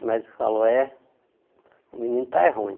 O médico falou, é, o menino está é ruim.